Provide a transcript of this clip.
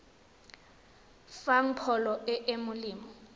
fang pholo e e molemo